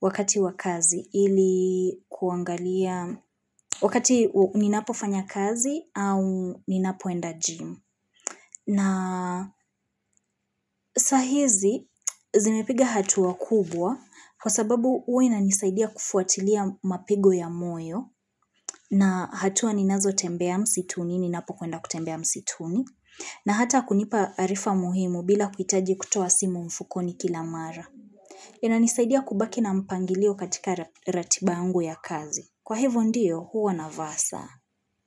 wakati wakazi ili kuangalia wakati ninapo fanya kazi au ninapoenda gym. Na sahizi zimepiga hatuwa kubwa kwa sababu uwe na nisaidia kufuatilia mapigo ya moyo na hatuwa ninazo tembea msituni, ninapo kuenda kutembea msituni. Na hata kunipa arifa muhimu bila kuitaji kutoa simu mfukoni kila mara. Yina nisaidia kubaki na mpangilio katika ratibangu ya kazi. Kwa hivo ndiyo huwa navaa saa.